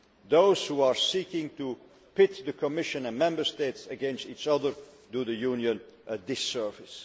Those who are seeking to pit the Commission and Member States against each other do the Union a disservice.